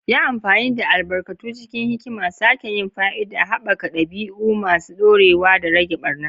Yi amfani da albarkatu cikin hikima, sake yin fa'ida, haɓaka ɗabi'u masu ɗorewa, da rage ɓarna.